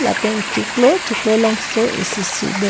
lapen chiklo chiklo longso isi si do.